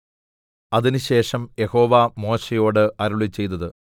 അതിനുശേഷം യഹോവ മോശെയോട് അരുളിച്ചെയ്തതു